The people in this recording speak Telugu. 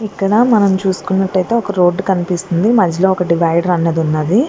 ఇక్కడ మనం చూసుకున్నట్లయితే రోడ్డు కనిపిస్తుంది మధ్యలో డివైడర్ అన్నది ఉన్నది.